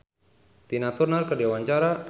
Trie Utami olohok ningali Tina Turner keur diwawancara